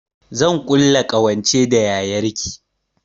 Zan ƙulla ƙawance da yayar ki